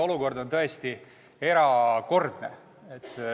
Olukord on tõesti erakordne.